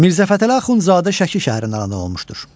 Mirzəfətəli Axundzadə Şəki şəhərində anadan olmuşdur.